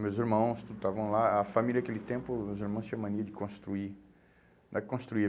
Meus irmãos tudo estavam lá, a família naquele tempo, os irmãos tinham mania de construir. Né, construir